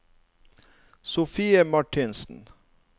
Sofie Martinsen